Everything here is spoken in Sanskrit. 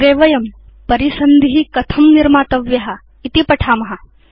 अग्रे वयं परिसन्धि कथं निर्मातव्य इति पठेम